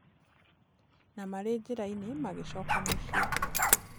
Na marĩ njĩrainĩ magĩ coka mũcie.